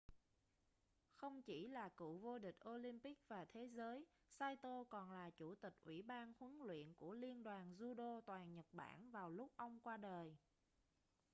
không chỉ là cựu vô địch olympic và thế giới saito còn là chủ tịch ủy ban huấn luyện của liên đoàn judo toàn nhật bản vào lúc ông qua đời